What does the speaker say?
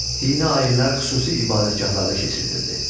Dini ayinlər xüsusi ibadətgahlarda keçirilirdi.